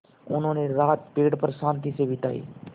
उन्होंने रात पेड़ पर शान्ति से बिताई